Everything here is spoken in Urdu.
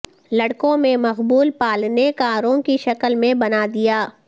لڑکوں میں مقبول پالنے کاروں کی شکل میں بنا دیا